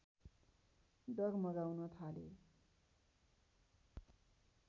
डगमगाउन थाले